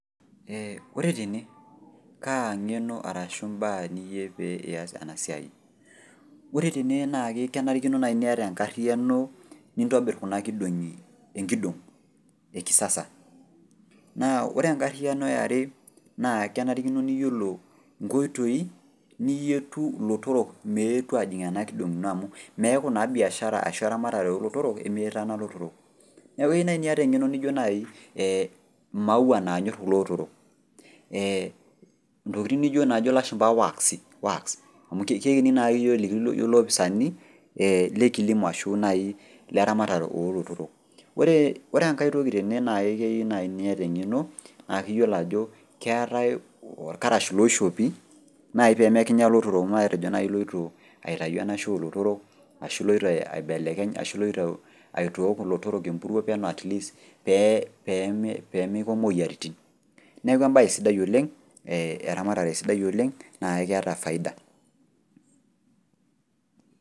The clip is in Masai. Eeh ore tene kaa ng'eno arashu imbaa niyieu pee ias ena siai. Ore tene naake kenarikino nai niata enkarriyano nintobirr kuna kidong'i, enkidong' e kisasa, naa ore enkarriyano e are naa kenarikino niyiolo nkoitoi niyietu ilotorrok meetu ajing' ena kidong' ino amu meeku naa  biashara ashu eramatare olotorok emetaana ilotorrok. Neaku eyou nai niata eng'eno nijo nai ee maua naanyorr kulootorok ee intokitin nijo naajo lashumba waksi wax amu keini naake yiok eliki iyiook ilopisani ee le kilimo ashu nai leramatare oolotorok. Ore engai toki teke naake keyiu naai niata eng'eno naa iyiolo ajo keetai olkarash looishopi nai peemekinya lotorok matejo nai iloito aitayu enaisho olotorok ashu iloito aibelekeny ashu iloito aitook ilotorrok empuruo peno atleast pee, peemeiko moyaritin neaku embaye sidai oleng' ee eramatare sidai oleng' naakeeta faida.